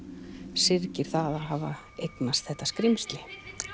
syrgir það að hafa eignast þetta skrímsli